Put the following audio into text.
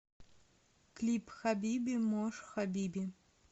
клип хабиби мош хабиби